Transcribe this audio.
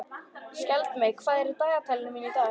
Skjaldmey, hvað er í dagatalinu mínu í dag?